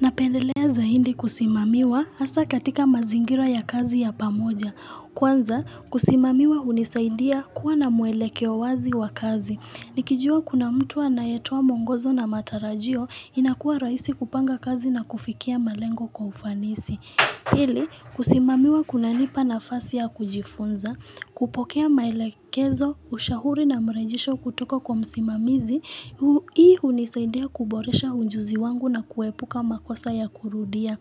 Napendelea zaidi kusimamiwa hasa katika mazingira ya kazi ya pamoja. Kwanza, kusimamiwa hunisaidia kuwa na muelekeo wazi wa kazi. Nikijua kuna mtu anayetoa muongozo na matarajio, inakuwa raisi kupanga kazi na kufikia malengo kwa ufanisi. Pili, kusimamiwa kunanipa nafasi ya kujifunza. Kupokea maelekezo, ushauri na mrejesho kutoka kwa msimamizi. Hii hunisaidia kuboresha ujuzi wangu na kuepuka makosa ya kurudia.